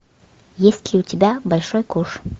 есть ли у тебя большой куш